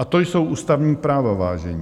A to jsou ústavní práva, vážení.